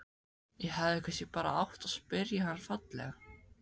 Ég hefði kannski bara átt að spyrja hann fallega?